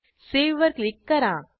Saveवर क्लिक करा